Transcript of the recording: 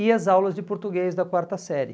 e as aulas de português da quarta série.